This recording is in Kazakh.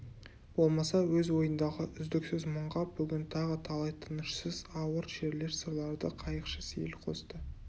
болмаса өз ойындағы үздіксіз мұңға бүгін тағы талай тынышсыз ауыр шерлер сырларды қайықшы сейіл қосты